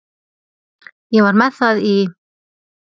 Ég var með það í